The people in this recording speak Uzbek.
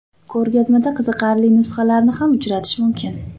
Ko‘rgazmada qiziqarli nusxalarni ham uchratish mumkin.